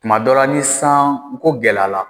Kuma dɔ La ni san ko gɛlɛya la